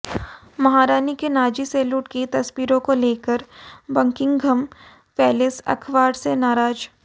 महारानी के Nazi salute की तस्वीरों को लेकर बकिंघम पैलेस अखबार से नाराज